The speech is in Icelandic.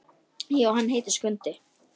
Já, hann heitir Skundi.